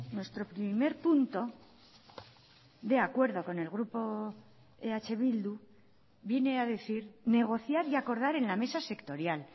nuestro primer punto de acuerdo con el grupo eh bildu viene a decir negociar y acordar en la mesa sectorial